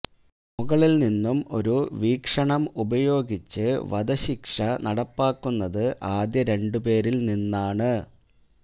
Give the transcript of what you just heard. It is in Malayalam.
മുകളിൽ നിന്നും ഒരു വീക്ഷണം ഉപയോഗിച്ച് വധശിക്ഷ നടപ്പാക്കുന്നത് ആദ്യ രണ്ട് പേരിൽ നിന്നാണ്